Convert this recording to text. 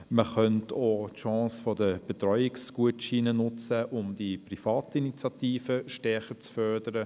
Man könnte auch die Chance der Betreuungsgutscheine nutzen, um die Privatinitiative stärker zu fördern.